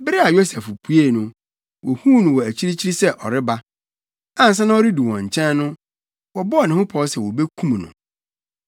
Bere a Yosef puei no, wohuu no wɔ akyirikyiri sɛ ɔreba. Ansa na ɔredu wɔn nkyɛn no, wɔbɔɔ ne ho pɔw sɛ wobekum no.